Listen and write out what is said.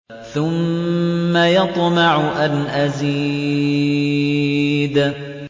ثُمَّ يَطْمَعُ أَنْ أَزِيدَ